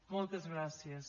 moltes gràcies